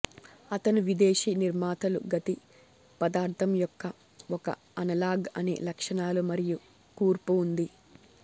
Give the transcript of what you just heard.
అతను విదేశీ నిర్మాతలు గతి పదార్థం యొక్క ఒక అనలాగ్ అదే లక్షణాలు మరియు కూర్పు ఉంది